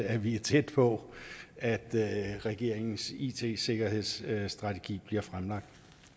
at vi er tæt på at regeringens it sikkerhedsstrategi bliver fremlagt